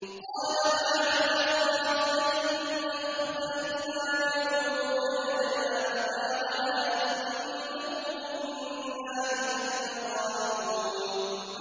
قَالَ مَعَاذَ اللَّهِ أَن نَّأْخُذَ إِلَّا مَن وَجَدْنَا مَتَاعَنَا عِندَهُ إِنَّا إِذًا لَّظَالِمُونَ